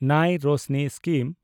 ᱱᱟᱭ ᱨᱚᱥᱱᱤ ᱥᱠᱤᱢ